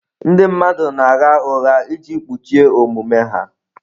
Ndị mmadụ na-agha ụgha iji kpuchie omume ha.